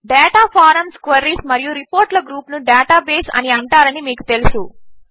data forms queries మరియు రిపోర్ట్ల గ్రూపును డేటాబేస్ అని అంటారని మీకు తెలుసు